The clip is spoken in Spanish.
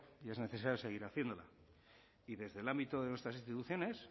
y es necesario seguir haciéndolo y desde el ámbito de nuestras instituciones